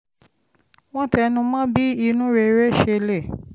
wọ́n tẹnu mọ́ bí inú rere ṣe lè